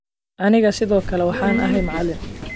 Anigaa sidoo kale waxaan ahay macalin